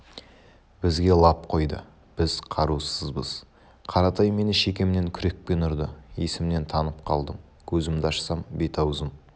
бізге лап қойды біз қарусызбыз қаратай мені шекемнен күрекпен ұрды есімнен танып қалдым көзімді ашсам бет-аузым